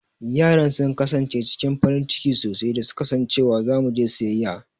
Yaran sun kasance cikin farin ciki sosai da su ka san cewa za mu je siyayya.